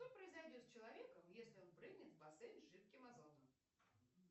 что произойдет с человеком если он прыгнет в бассейн с жидким азотом